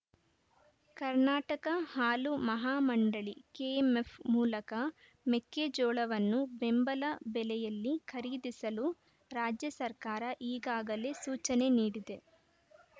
ಕರ್ನಾಟಕ ಹಾಲು ಮಹಾಮಂಡಳಿ ಕೆಎಂಎಫ್‌ ಮೂಲಕ ಮೆಕ್ಕೆಜೋಳವನ್ನು ಬೆಂಬಲ ಬೆಲೆಯಲ್ಲಿ ಖರೀದಿಸಲು ರಾಜ್ಯ ಸರ್ಕಾರ ಈಗಾಗಲೇ ಸೂಚನೆ ನೀಡಿದೆ